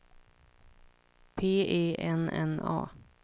P E N N A